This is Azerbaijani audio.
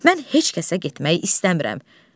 Mən heç kəsə getmək istəmirəm.